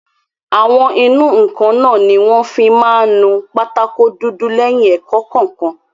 Àwọn ìnù-ǹkan náà ni wọ́n fi máa n nu pátákó dúdú lẹ́yìn ẹ̀kọ́ kọ̀ọ̀kan